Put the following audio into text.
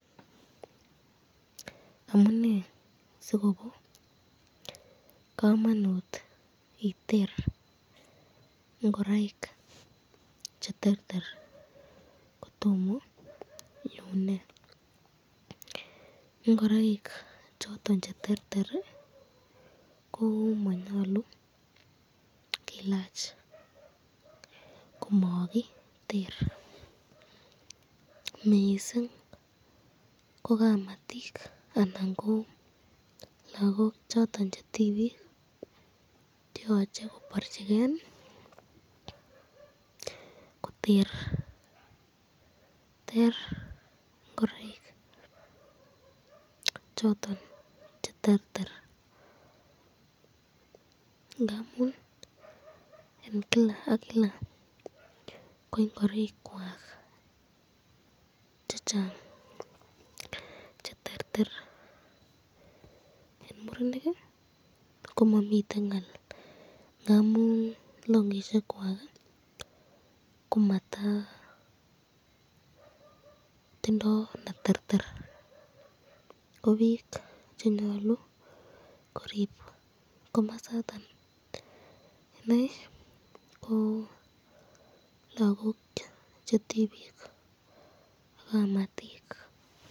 Amune sikobo kamanut iter ingoraik cheterter kotomo iune, ngoraik choton cheterter komanyalu kelach komakiter mising ko kamatik anan ko lagok choton chetibik koyoche, kobarchiken koter ingoraik choton cheterter.